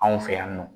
Anw fɛ yan nɔ